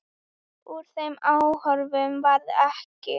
Úr þeim áformum varð ekki.